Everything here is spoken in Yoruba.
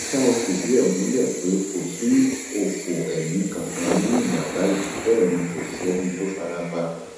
ṣá ò fìdí ẹ múlẹ pé kò sí ọfọ ẹmí kankan nínú ìjàmbá yìí bẹẹ ni kò sẹni tó farapa